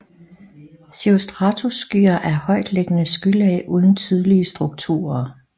Cirrostratusskyer er højtliggende skylag uden tydelige strukturer